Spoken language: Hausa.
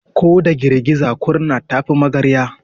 Ko da girgiza kurna ta fi magarya.